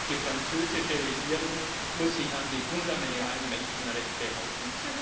Auch die französische Regierung muss sich an die fundamentalen Menschenrechte halten.